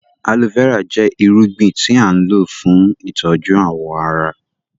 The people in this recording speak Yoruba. Aloe vera jẹ ìrúgbìn tí a n lọ fún ìtọju awọn àrà.